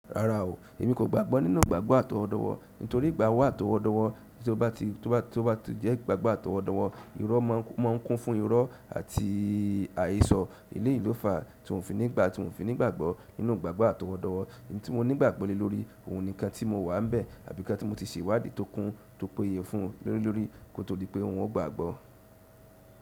Rárá o, èmi kò gbàgbọ́ nínú ìgbàgbọ́ àtọwọ́dọ́wọ́ nítorí ìgbàdọ́ àtọwọ́dọ́wọ́ tí ó bá ti jẹ́ ìgbàgbọ́ àtọwọ́dọ́wọ́, irọ́ máa ń kún fún irọ́ àti àyésọ. Eleyìí ló fà tí un o fi nígbà tí un fi nígbàgbọ́ nínú ìgbàgbọ́ àtọwọ́dọ́wọ́. Èyí tí mo ní ìgbàgbọ́ lé lórí, òun ni ikán tí mo wà ḿbẹ̀ àbí ikán tí mo ti ṣe ìwádìí tó kún tó péye fún le lórí kó tó di pé un o gbàgbọ́.